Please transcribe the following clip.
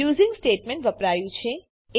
using statement વપરાયું છે